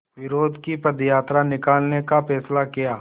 विरोध की पदयात्रा निकालने का फ़ैसला किया